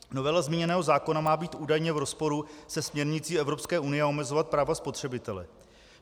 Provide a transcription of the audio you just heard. Novela zmíněného zákona má být údajně v rozporu se směrnicí Evropské unie a omezovat práva spotřebitele.